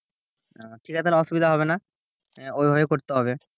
আহ তাহলে ঠিক আছে অসুবিধা হবে না। ওইভাবেই করতে হবে।